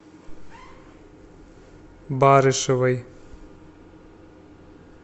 барышевой